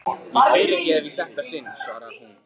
Ég fyrirgef í þetta sinn, svarar hún.